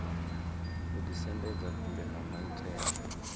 u ḓisendedza kule na maitele